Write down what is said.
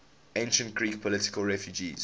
ancient greek political refugees